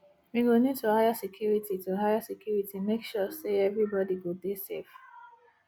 we go need to hire security to hire security make sure sey everybodi go dey safe